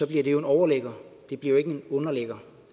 bliver det en overligger det bliver jo ikke en underligger